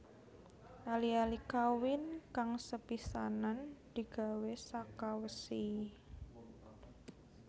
Ali ali kawin kang sepisanan digawé saka wesi